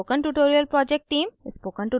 spoken tutorial project team: